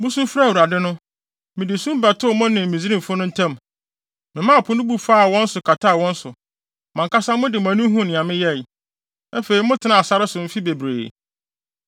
Musu frɛɛ Awurade no, mede sum bɛtoo mo ne Misraimfo no ntam, memaa Po no bu faa wɔn so kataa wɔn so. Mo ankasa mo de mo ani huu nea meyɛe. Afei motenaa sare so mfe bebree.